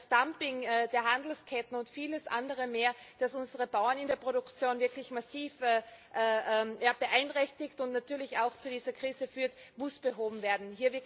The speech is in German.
Das Dumping der Handelsketten und vieles andere mehr, das unsere Bauern in der Produktion wirklich massiv beeinträchtigt und natürlich auch zu dieser Krise führt, muss behoben werden.